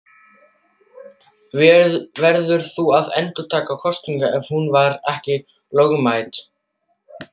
Verður þá að endurtaka kosninguna ef hún var ekki lögmæt.